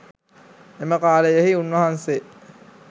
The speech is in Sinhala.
එම කාලයෙහි උන්වහන්සේ